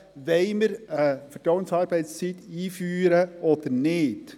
Wollen wir eine Vertrauensarbeitszeit einführen oder nicht?